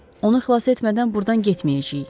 Onu xilas etmədən burdan getməyəcəyik.